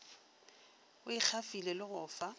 a ikgafile le go fa